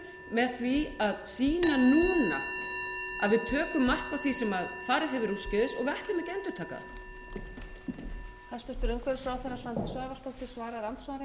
með því að sýna núna að við tökum mark á því sem farið hefur úrskeiðis og við ætlum ekki að endurtaka það